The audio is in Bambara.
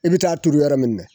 I bɛ taa turu yɔrɔ minɛ na